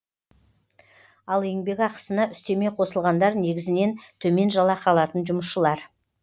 ал еңбекақысына үстеме қосылғандар негізінен төмен жалақы алатын жұмысшылар